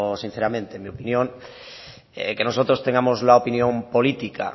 sinceramente mi opinión que nosotros tengamos la opinión política